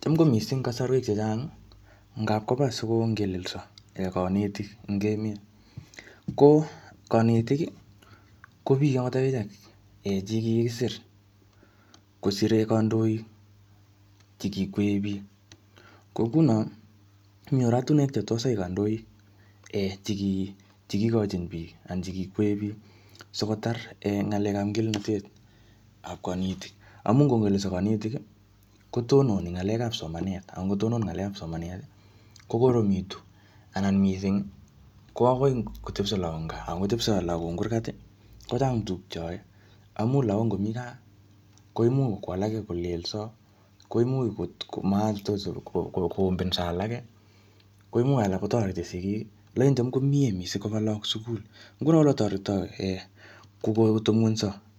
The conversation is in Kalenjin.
Cham ko missing kasarwek chechang, ngapkoba sikongelelso kanetik eng emet. Ko kanetik, ko biik angot akichek che kikisir, kosire kandoik chekikwee biiik. Ko nguno, mi oratunwek che tos ai kandoik um cheki-chekikochin biik, anan chekikwe biik sikotar um ng'alekap ngelelnatet ap kanetik. Amu ngongelelso kanetik, kotononi ng'alekap somanet. Angotonon ng'alekap somanet, kokoromitu anan missing, ko akoi kotepso lahok eng gaa. Angotepso lagok eng kurgat, kochang tuguk che ae. Amu lagok ngomii gaa, koimuch ko alak kolelso, koimuch kotko koombenso alake, koimuch alak kotoreti sigik, lakini cham komiee missing koba lagok sukul. Nguno ole toretoi